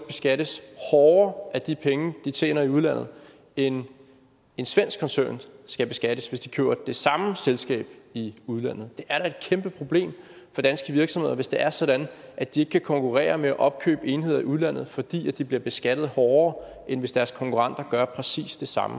beskattes hårdere af de penge de tjener i udlandet end en svensk koncern skal beskattes hvis de køber det samme selskab i udlandet det er da et kæmpe problem for danske virksomheder hvis det er sådan at de ikke kan konkurrere om at opkøbe enheder i udlandet fordi de bliver beskattet hårdere end hvis deres konkurrenter gør præcis det samme